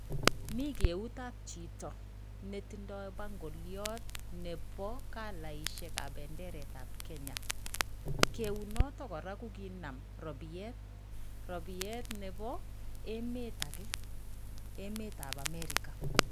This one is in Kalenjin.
Mi keutab chito netindoi pangoliot nebo kalaishiekab benderetab Kenya, keunoto kora ko kinam robiet, robiet nebo emet age, emetab Amerika.